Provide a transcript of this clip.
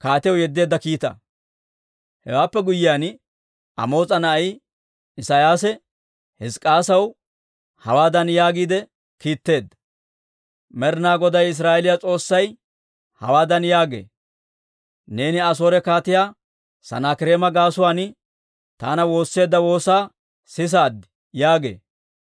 Hewaappe guyyiyaan, Amoos'a na'ay Isiyaasi Hizk'k'iyaasaw hawaadan yaagiide kiitteedda; «Med'ina Goday Israa'eeliyaa S'oossay hawaadan yaagee; ‹Neeni Asoore Kaatiyaa Sanaakireema gaasuwaan taana woosseedda woosaa sisaad› yaagee.